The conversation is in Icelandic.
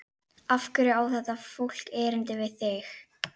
Af hverju á þetta fólk erindi við þig?